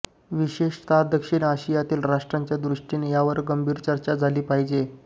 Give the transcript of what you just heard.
विशेषतः दक्षिण आशियातील राष्ट्रांच्या दृष्टीने यावर गंभीर चर्चा झाली पाहिजे